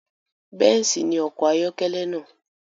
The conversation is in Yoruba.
Bẹ́ǹsì ni ọkọ̀ ayọ́kẹ́lẹ́ náà